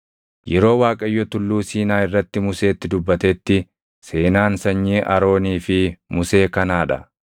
Yeroo Waaqayyo Tulluu Siinaa irratti Museetti dubbatetti seenaan sanyii Aroonii fi Musee kanaa dha.